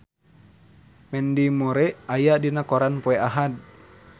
Mandy Moore aya dina koran poe Ahad